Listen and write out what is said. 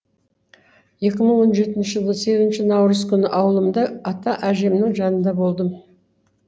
екі мың он жетінші жылы сегізінші наурыз күні ауылымда ата әжемнің жанында болдым